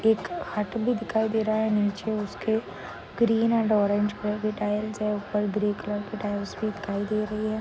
एक खाट भी दिखाई दे रहा नीचे उसके ग्रीन अँड ऑरेंज कलर की टाइल्स है। उपर ग्रे कलर की टाइल्स भी दिखाई दे रही है।